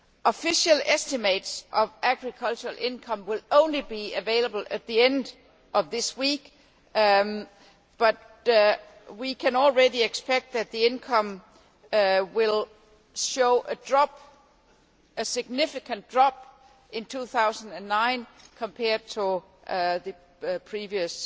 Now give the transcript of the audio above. Official estimates of agricultural income will only be available at the end of this week, but we can already expect that the income will show a significant drop in 2009 compared to the previous